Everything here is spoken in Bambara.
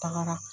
Tagara